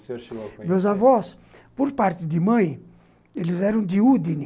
O senhor chegou a conhecer? meus avôs, por parte de mãe, eles eram de